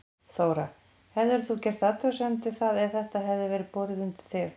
Þóra: Hefðir þú gert athugasemd við það ef þetta hefði verið borið undir þig?